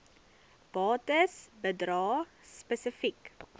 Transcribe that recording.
bates bedrae spesifiek